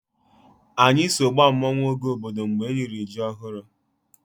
Anyị so gbaa mmanwụ oge obodo m riri ji ọhụrụ.